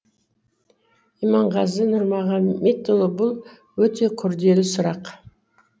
иманғазы нұрмағаметұлы бұл өте күрделі сұрақ